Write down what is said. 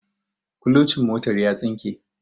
kulocin motar ya tsinke